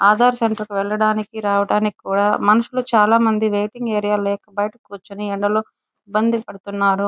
Aadhaar centre కి వెళ్లడానికి రావడానికి కూడా మనుషులు వెయిటింగ్ ఏరియా లేకుండా''చాలామంది బయట కూర్చుని ఎండ ఇబ్బంది పడుతున్నారు.